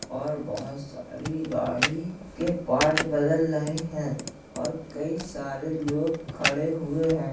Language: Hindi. और बहोत सारी गाडी के पार्ट बदल रहे हैं और कई सारे लोग खड़े हुए है।